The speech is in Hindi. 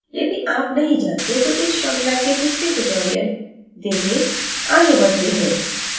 यदि आप नहीं जानते तो इस श्रृंखला के पिछले tutorials देखें आगे बढ़ते हैं